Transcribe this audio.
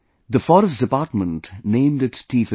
The Forest Department named it T15